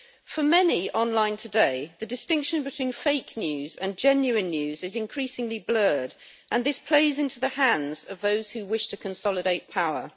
For many online today, the distinction between fake news and genuine news is increasingly blurred, and this plays into the hands of those who wish to consolidate power.